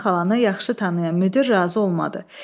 Əminə xalanı yaxşı tanıyan müdir razı olmadı.